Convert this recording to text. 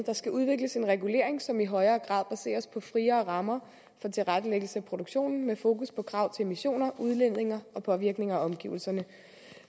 skal udvikles en regulering som i højere grad baseres på friere rammer for tilrettelæggelse af produktionen med fokus på krav til emissioner udledninger og påvirkninger af omgivelserne